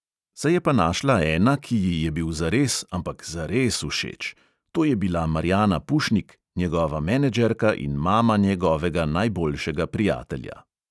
Se je pa našla ena, ki ji je bil zares, ampak zares všeč: to je bila marjana pušnik, njegova menedžerka in mama njegovega najboljšega prijatelja.